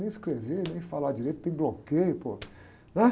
Nem escrever, nem falar direito, tem bloqueio, pô, né?